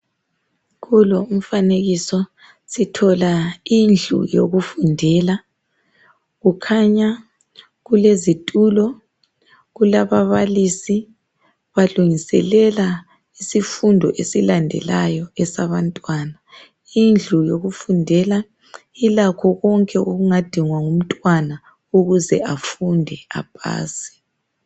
Kulo umfanekiso sithola indlu yokufundela. Kukhanya kulezitulo kulababalisi balungiselela isifundo esilandelayo esabantwana. Indlu yokufundela ilakho konke okungadingwa ngumntwana ukuze afunde apase.